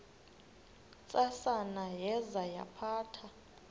ntsasana yaza yaphatha